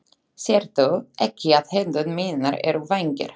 Sérðu ekki að hendur mínar eru vængir?